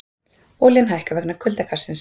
Olían hækkar vegna kuldakastsins